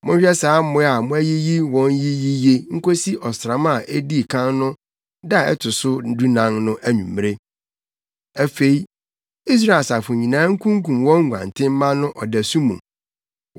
Monhwɛ saa mmoa a moayiyi wɔn yi yiye nkosi ɔsram a edii kan no da a ɛto so dunan no anwummere. Afei Israel asafo nyinaa nkunkum wɔn nguantenmma no ɔdasu mu.